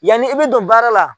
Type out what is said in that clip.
Yanni e bɛ don baara la